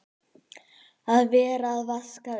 Að vera að vaska svona upp!